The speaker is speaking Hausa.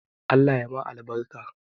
Allah ya ma albarka